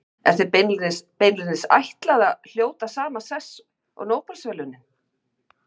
Er þeim beinlínis ætlað að hljóta sama sess og Nóbelsverðlaunin.